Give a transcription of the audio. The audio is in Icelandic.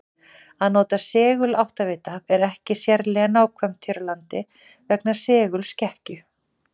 Að nota seguláttavita er ekki sérlega nákvæmt hér á landi vegna segulskekkju.